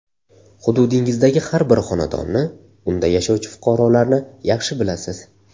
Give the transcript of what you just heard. Hududingizdagi har bir xonadonni, unda yashovchi fuqarolarni yaxshi bilasiz.